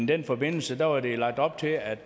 den forbindelse var der lagt op til at